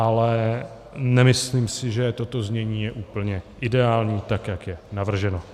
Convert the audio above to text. Ale nemyslím si, že toto znění je úplně ideální, tak jak je navrženo.